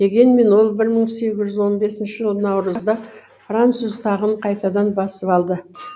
дегенмен ол бір мың сегіз жүз он бесінші жылы наурызда француз тағын қайтадан басып алды